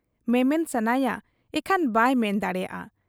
ᱢᱮᱢᱮᱱ ᱥᱟᱱᱟᱭᱟ ᱤᱠᱷᱟᱹᱱ ᱵᱟᱭ ᱢᱮᱱ ᱫᱟᱲᱮᱭᱟᱜ ᱟ ᱾